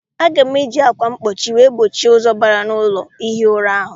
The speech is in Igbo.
Aga m eji akwa mkpochi wee gbochie ụzọ bara na ụlọ ihi ura ahụ.